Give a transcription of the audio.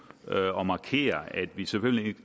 og markere at vi selvfølgelig